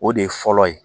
O de ye fɔlɔ ye